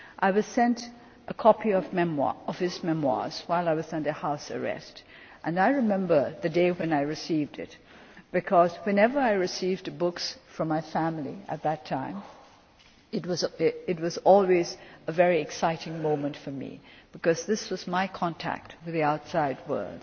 I was sent a copy of his memoirs while I was under house arrest, and I remember the day when I received it, because whenever I received books from my family at that time, it was always a very exciting moment for me this was my contact with the outside world,